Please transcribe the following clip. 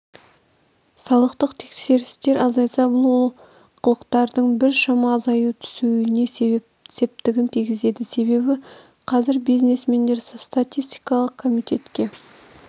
салықтық тексерістер азайса бұл ол қылықтардың біршама азаю түсуіне септігін тигізеді себебі қазір бизнесмендер статистикалық комитетке